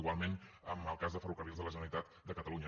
igualment en el cas de ferrocarrils de la generalitat de catalunya